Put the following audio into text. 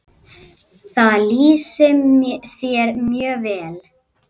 Það lýsir þér mjög vel.